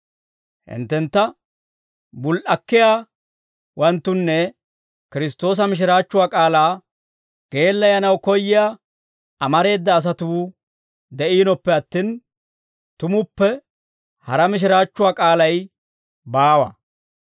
Hinttentta bul"akkiyaawanttunne Kiristtoosa mishiraachchuwaa k'aalaa geellayanaw koyyiyaa amareeda asatuu de'iinoppe attin, tumuppe hara mishiraachchuwaa k'aalay baawa.